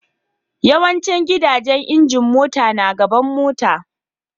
Yawancin gidajen injin mota na gaban motan.